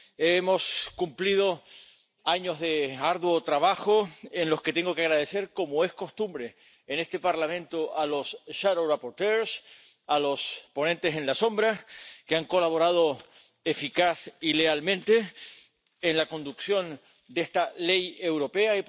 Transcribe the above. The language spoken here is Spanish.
Hemos cumplido años de arduo trabajo, en los que tengo que agradecer, como es costumbre en este Parlamento, a los ponentes alternativos, que han colaborado eficaz y lealmente en la conducción de esta ley europea